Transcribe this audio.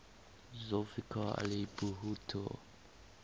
zulfikar ali bhutto